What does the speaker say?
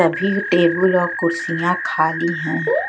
सभी टेबुल और कुर्सियां खाली है।